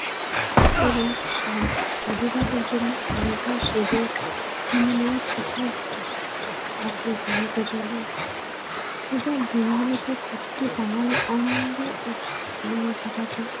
এবং সাধ~ সধবাদের জন্য আলতা, সিঁদুর কিনে দেওয়ার প্রথা পূজার দিনগুলোতে প্রতিটি বাঙালি আনন্দ, উৎসবে মেতে থাকে।